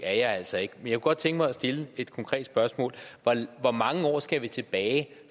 er jeg altså ikke men jeg kunne godt tænke mig at stille et konkret spørgsmål hvor mange år skal tilbage